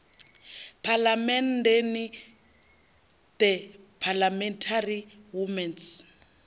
phalamenndeni the parliamentary women s